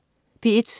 P1: